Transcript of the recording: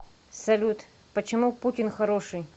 салют почему путин хороший